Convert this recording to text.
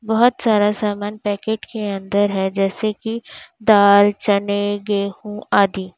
बहोत सारा सामान पैकेट के अंदर है जैसे कि दाल चने गेहूं आदि।